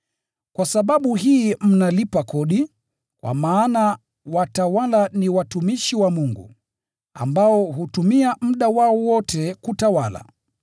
Kwa sababu hii mnalipa kodi, kwa maana watawala ni watumishi wa Mungu, ambao hutumia muda wao wote kutawala.